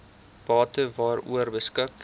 bate waaroor beskik